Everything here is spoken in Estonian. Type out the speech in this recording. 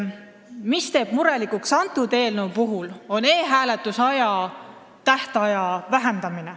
Selle eelnõu puhul teeb murelikuks e-hääletuse aja lühendamine.